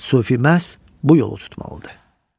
Sufi məhz bu yolu tutmalıdır.